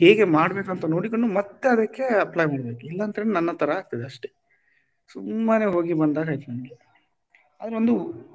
ಹೇಗೆ ಮಾಡ್ಬೇಕಂತ ನೋಡಿಕೊಂಡು ಮತ್ತೆ ಅದಕ್ಕೆ apply ಮಾಡ್ಬೇಕು ಇಲ್ಲದ್ರೆ ನನ್ನ ತರ ಆಗ್ತದೆ ಅಷ್ಟೇ ಸುಮ್ಮನೆ ಹೋಗಿ ಬಂದಾಗೇ ಆಯ್ತು ನಂಗೆ ಆದರು,